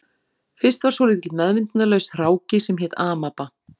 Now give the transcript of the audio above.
Fyrst var svolítill meðvitundarlaus hráki sem hét amaba